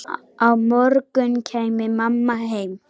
Á morgun kæmi mamma heim.